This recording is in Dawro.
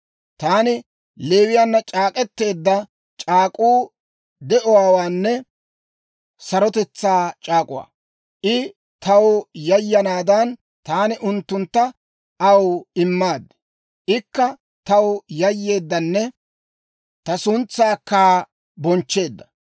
«Taani Leewiyaanna c'aak'k'eteedda c'aak'k'uu de'uwaanne sarotetsaa c'aak'uwaa; I taw yayanaadan, taani unttuntta aw immaaddi; ikka taw yayyeeddanne ta suntsaakka bonchcheedda.